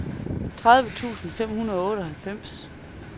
tredive tusind fem hundrede og otteoghalvfjerds